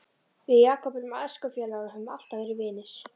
Við Jakob erum æskufélagar og höfum alltaf verið vinir.